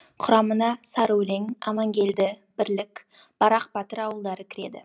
құрамына сарыөлең амангелді бірлік барақ батыр ауылдары кіреді